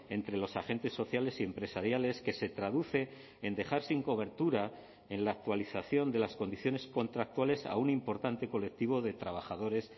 entre los agentes sociales y empresariales que se traduce en dejar sin cobertura en la actualización de las condiciones contractuales a un importante colectivo de trabajadores